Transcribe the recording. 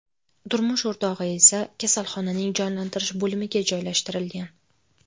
Turmush o‘rtog‘i esa kasalxonaning jonlantirish bo‘limiga joylashtirilgan.